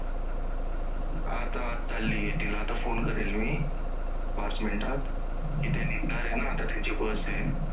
आता आता phone करेल मी पाच मिनिटात तिथे निघणार आहे ना आता त्यांची bus आहे.